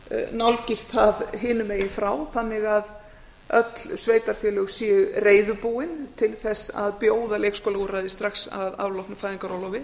nálgist það hinum megin frá þannig að öll sveitarfélög séu reiðubúin til þess að bjóða leikskólaúrræði strax að afloknu fæðingarorlofi